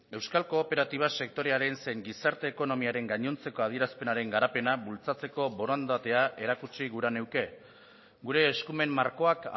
euskal kooperatiba sektorearen zein gizarte ekonomiaren gainontzeko adierazpenaren garapena bultzatzeko borondatea erakutsi gura nuke gure eskumen markoak